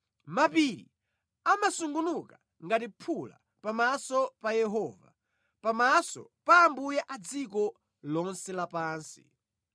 Mapiri amasungunuka ngati phula pamaso pa Yehova, pamaso pa Ambuye a dziko lonse lapansi.